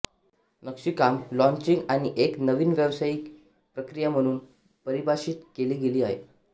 नक्षीकाम लॉन्चिंग आणि एक नवीन व्यवसायाची प्रक्रिया म्हणून परिभाषित केली गेली आहे